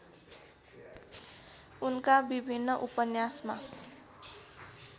उनका विभिन्न उपन्यासमा